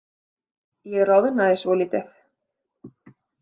Ég roðnaði svolítið.